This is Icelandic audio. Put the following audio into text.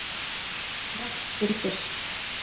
Rennt fyrir fisk.